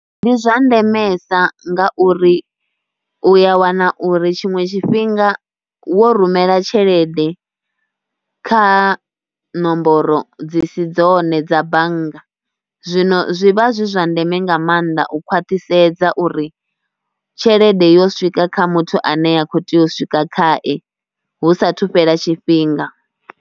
Ndi zwa ndemesa ngauri u ya wana uri tshiṅwe tshifhinga wo rumela tshelede kha nomboro dzi si dzone dza bannga zwino zwi vha zwi zwa ndeme nga maanḓa u khwaṱhisedza uri tshelede yo swika kha muthu ane a khou tea u swika khaye hu saathu fhela tshifhinga.